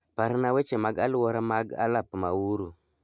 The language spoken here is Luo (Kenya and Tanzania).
Parna weche mag aluora mag alap ma Uhuru